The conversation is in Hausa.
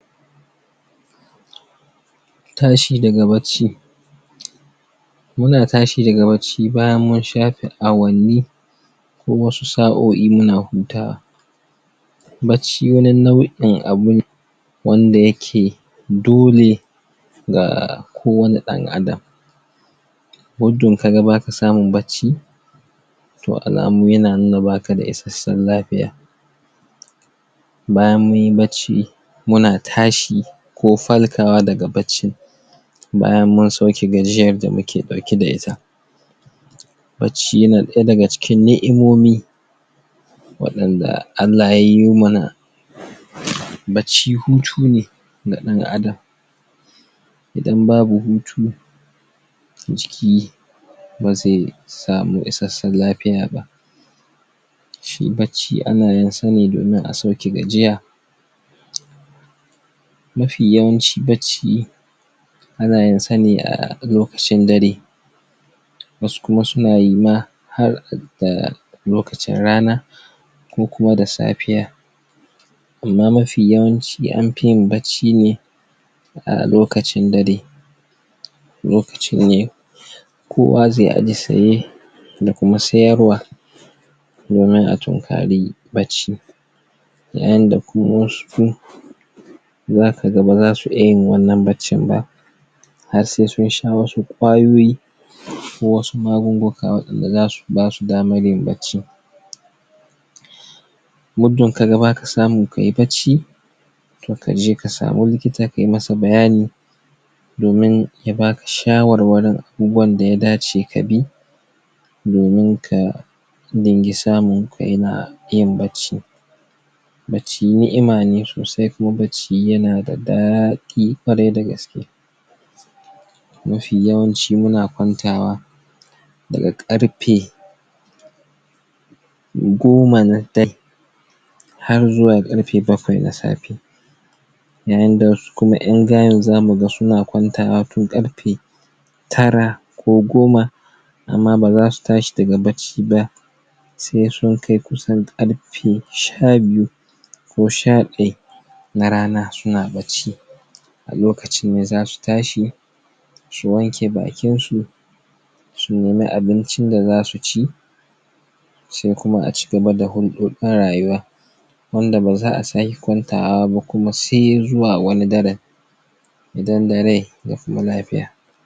tashi daga bacci muna tashi daga bacci bayan musha awanni kuma su sao'i muna huta wa bacci wanni nau'in abune wanda yake dole ga kowani dan adam ka ga baka samun bacci toh alamu yana nuna baka da ishesun lafiya bayan munyi bacci muna tashi ko farka wa daga bacci bayan mun sauke gajiyan da muke dauke da ita shine daya daga cikin ni'imomi wadnada Allah ya yu mana bacci hutu ne na dan adam idan babu hutu jiki bazai samu isheshen lafiya ba shi bacci ana yin sa ne domin a sauke gajiya mafi yawanci bacci ana yin sa ne a lokacin dare wasu kuma suna yi ma har da lokacin rana ko kuma da safiya amma mafi yawanci an fiyin bacci ne a lokacin dare lokacin ne kowa zai domin a tunkari bacci da yanda kuma wasu zaka ga baza su iya yin wannan baccin ba har sai sun sha wasu ƙwayoyi ko wasu magunguna da zasu basu damar yin bacci muddun kaga baka samun kayi bacci kaje ka samu likita ka masa bayani domin ya baka shawarwarin abubuwan da ya dace ka bi domin ka din ga samun ko yana yin bacci bacci ni'ima ne sosai kuma bacci yana da daɗi ƙwarai dagaske mafi yawanci muna kwantawa daga karfe goma na dare har zuwa karfe bakwai na safe yayin da wasu kuma en zamu ga suna kwantawa tun karfe tara ko goma amma baza su tashi daga bacci ba sai sun kai kusan ƙarfe sha biyu ko sha daya na rana suna bacci a lokacin ne zasu tashi su wanke bakin su sun nemi abincin da zasu ci sai kuma a cigaba da na rayuwa wanda baza'a saka kwantawa ba kuma sai zuwa wani daren idan da rai da lafiya